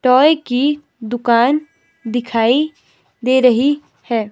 Toy की दुकान दिखाई दे रही है।